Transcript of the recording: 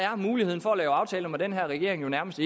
muligheden for at lave aftaler med den her regering nærmest